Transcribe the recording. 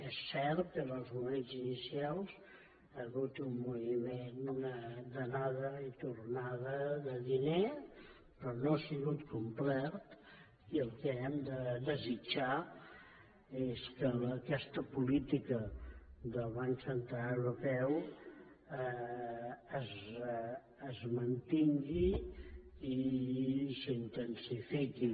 és cert que en els moments inicials hi ha hagut un moviment d’anada i tornada de diner però no ha sigut complet i el que hem de desitjar és que aquesta política del banc central europeu es mantingui i s’intensifiqui